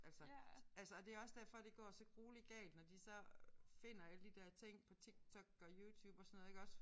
Altså altså og det er også derfor det går så grueligt galt når de så finder alle de der ting på Tik Tok og YouTube og sådan noget iggås